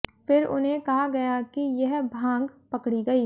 फिर उन्हें कहा गया कि यह भांग पकड़ी गयी